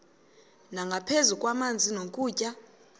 nangaphezu kwamanzi nokutya